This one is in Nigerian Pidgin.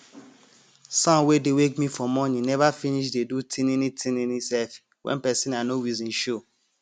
sound wey dey wake me for morin neva finis dey do tinini tinini sef wen pesin i nor reson show